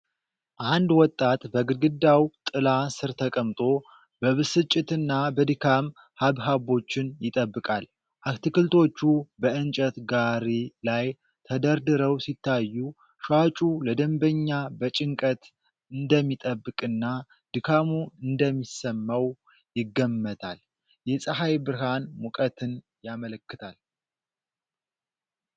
አንድ ወጣት በግድግዳው ጥላ ስር ተቀምጦ፣ በብስጭትና በድካም ሐብሐቦችን ይጠብቃል። አትክልቶቹ በእንጨት ጋሪ ላይ ተደርድረው ሲታዩ፤ ሻጩ ለደንበኛ በጭንቀት እንደሚጠብቅና ድካሙ እንደሚሰማው ይገመታል። የፀሐይ ብርሃን ሙቀትን ያመለክታል።